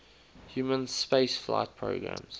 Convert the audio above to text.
human spaceflight programmes